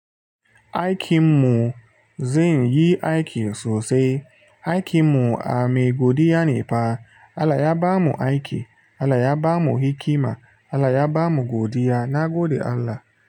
Aikinmu, zan yi aiki sosai. Aikinmu a me godiya ne fa Allah ya bamu aiki, Allah ya bamu hikima, Allah ya bamu godiya, nagode Allah.